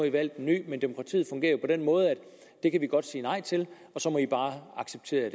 i valgt en ny men demokratiet fungerer på den måde at det kan vi godt sige nej til og så må i bare acceptere